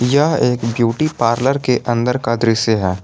यह एक beauty parlour के अंदर का दृश्य है।